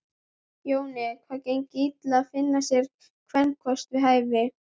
Jóni hafði gengið illa að finna sér kvenkost við hæfi.